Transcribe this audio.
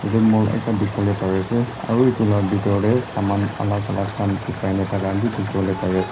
yadae mall ekta dikipolae pari asae aro etula bitor dae saman alak alak khan bikai na taka dikipolae pari asae.